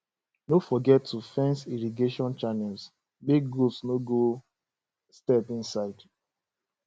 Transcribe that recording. no forget to fence irrigation channels make goat no go step inside